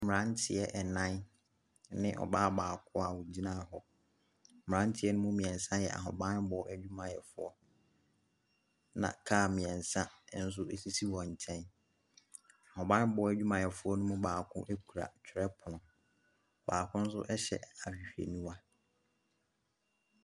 Mmeranteɛ nnan ne ɔbaa baako a wɔgyina hɔ, mmeranteɛ ne mu mmiɛnsa yɛ ahobammɔ adwumayɛfoɔ, na kaa mmiɛnsa nso sisi wɔn nkyɛn. Abammɔ adwumayɛfoɔ ne mu baako kita twerɔpono, baako nso hyɛ ahwehwɛniwa.